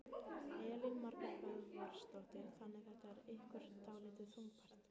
Elín Margrét Böðvarsdóttir: Þannig þetta er ykkur dálítið þungbært?